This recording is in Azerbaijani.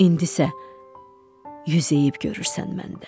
İndi isə yüz əyib görürsən məndə.